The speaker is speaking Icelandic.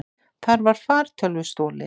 Þar var fartölvu stolið.